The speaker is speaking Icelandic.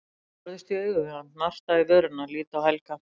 Ég horfist í augu við hann, narta í vörina, lít á Helga.